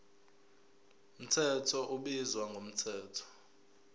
mthetho ubizwa ngomthetho